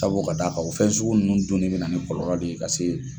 Sabu ka d'a kan o fɛn sugu nunnu dun ni bɛna na ni kɔlɔlɔ de ye ka se.